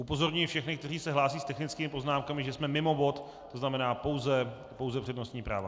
Upozorňuji všechny, kteří se hlásí s technickými poznámkami, že jsme mimo bod, to znamená pouze přednostní práva.